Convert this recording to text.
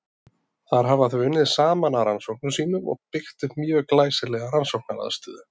Þar hafa þau unnið saman að rannsóknum sínum og byggt upp mjög glæsilega rannsóknaraðstöðu.